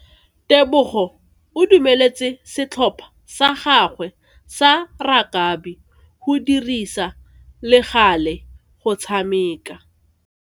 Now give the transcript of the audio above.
Tebogo o dumeletse setlhopha sa gagwe sa rakabi go dirisa le gale go tshameka.